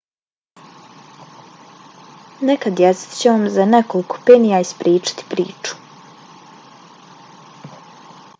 neka djeca će vam za nekoliko penija ispričati priču